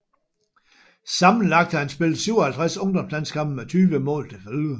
Sammenlagt har han spillet 57 ungdomslandskampe med 20 mål til følge